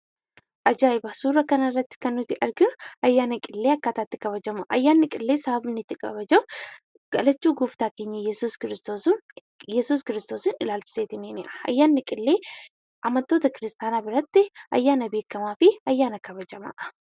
Ajaa'iba! Suura kana irratti kan nuti arginu akkaataa itti ayyaanni Qillee kabalamuu dha. Ayyaanni Qillee sababa inni kabajamuuf dhalachuu Gooftaa keenya Iyyesuus Kiristoosiin ilaachiseeti. Ayyaanni Qillee amantoota kiristaanaa biratti ayyaanaa beekamaa fi kabajamaa dha.